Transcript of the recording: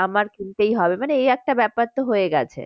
আমার কিনতেই হবে মানে এই একটা ব্যাপার তো হয়ে গেছে